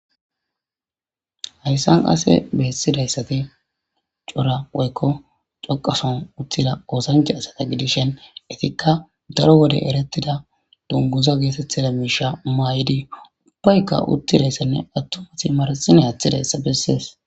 hayssan qase bessidayssate cora woykko coqason uttida oosanche asata gidishen itikka daro wode erettida dunguza geetetthida miisha maay7idi ubbaykka uttidayssanne attumati marsine haththidayssa bessees